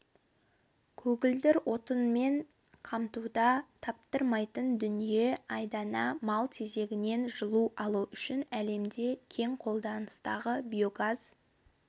көгілдір отынмен қамтуда таптырмайтын дүние айдана мал тезегінен жылу алу үшін әлемде кең қолданыстағы биогаз